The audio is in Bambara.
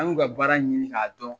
An y'u ka baara ɲini k'a dɔn.